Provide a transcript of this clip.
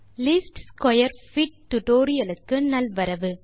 least square fit tutorial க்கு நல்வரவு